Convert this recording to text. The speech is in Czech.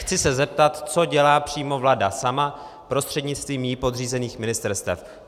Chci se zeptat, co dělá přímo vláda sama prostřednictvím jí podřízených ministerstev.